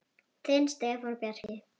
Þinn Stefán Bjarki.